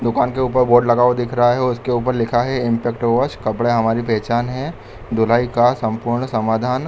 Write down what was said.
दुकान के ऊपर बोर्ड लगा हुआ दिख रहा है इसके ऊपर लिखा हुआ है इंपैक्ट वाश कपड़े हमारी पहचान है धुलाई का संपूर्ण समाधान --